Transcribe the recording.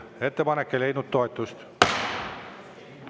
Ettepanek ei leidnud toetust.